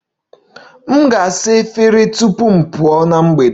M ga-asa efere tupu m pụọ na mgbede